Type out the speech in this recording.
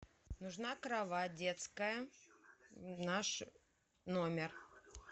нужна кровать детская в наш номер